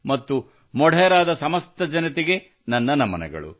ಮತ್ತು ಮೊಢೆರಾದ ಸಮಸ್ತ ಜನತೆಗೆ ನನ್ನ ನಮನಗಳು